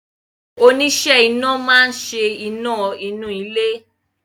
Oníṣẹ́ iná máa ń ṣe iná inú ilé